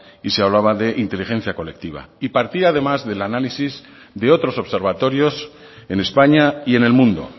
y se hablaba de inteligencia colectiva y partía además del análisis de otros observatorios en españa y en el mundo